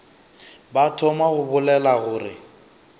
ba thoma go bolela gore